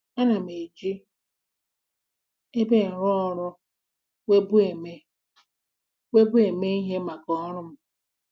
Ana m eji ebe nrụọrụ weebụ eme weebụ eme ihe maka ọrụ m.